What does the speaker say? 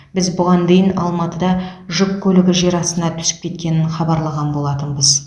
біз бұған дейін алматыда жүк көлігі жер астына түсіп кеткенін хабарлаған болатынбыз